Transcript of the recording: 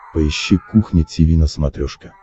поищи кухня тиви на смотрешке